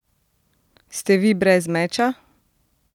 Ste vi brez meča?